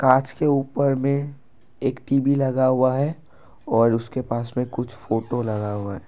कांच के ऊपर में एक टी_वी लगा हुआ है और उसके पास में कुछ फोटो लगा हुआ है।